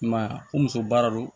I m'a ye wa ko muso baara don